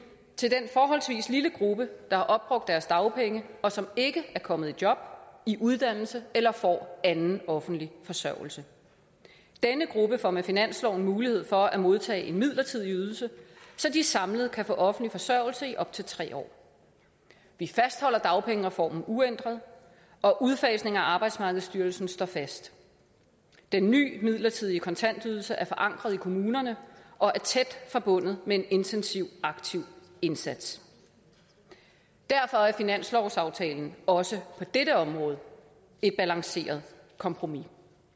til den forholdsvis lille gruppe der har opbrugt deres dagpenge og som ikke er kommet i job i uddannelse eller får anden offentlig forsørgelse denne gruppe får med finansloven mulighed for at modtage en midlertidig ydelse så de samlet kan få offentlig forsørgelse i op til tre år vi fastholder dagpengereformen uændret og udfasningen af arbejdsmarkedsstyrelsen står fast den ny midlertidige kontantydelse er forankret i kommunerne og er tæt forbundet med en intensiv aktiv indsats derfor er finanslovsaftalen også på dette område et balanceret kompromis